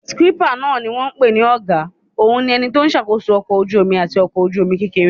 Síkípà náà ni wọ́n n pè ní ọ̀gá òun ni ẹni tó n ṣàkóso ọkọ̀ ojú-omi àti ọkọ̀ ojú-omi kékeré